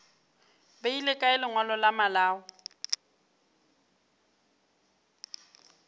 beile kae lengwalo la malao